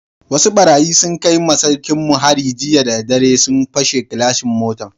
Wasu barayi sun kai ma sarkin mu hari jiya da dare, sun pashe gilashin motan.